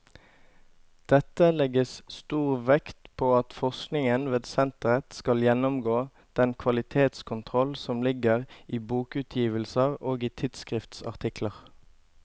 Dette legges stor vekt på at forskningen ved senteret skal gjennomgå den kvalitetskontroll som ligger i bokutgivelser og i tidsskriftsartikler.